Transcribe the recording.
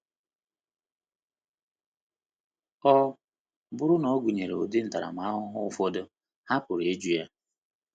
Ọ bụrụ na ọ gụnyere ụdị ntaramahụhụ ụfọdụ, ha pụrụ ịjụ ya.